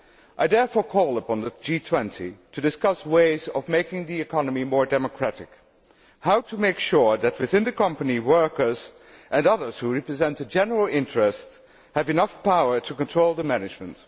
I therefore call upon the G20 to discuss ways of making the economy more democratic and how to make sure that, within the company, workers and others who represent the general interest have enough power to control the management.